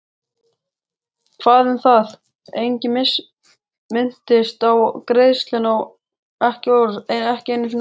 Hvað um það, enginn minntist á greiðsluna, ekki einu orði.